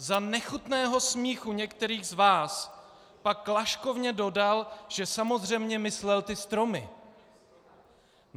Za nechutného smíchu některých z vás pak laškovně dodal, že samozřejmě myslel ty stromy.